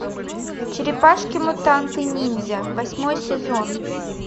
черепашки мутанты ниндзя восьмой сезон